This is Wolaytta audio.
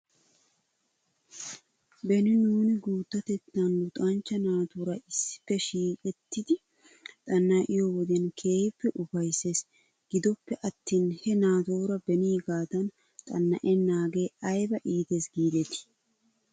Beni nuuni guuttatettan luxanchcha naatuura issippe shiiqettidi xana'iyoo wodiyan keehippe ufaysses. Gidoppe attin he naatuura beniigaadan xana'enaagee ayba iites giidetii?